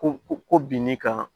Ko ko bin n'i kan